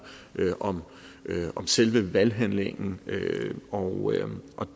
om selve valghandlingen og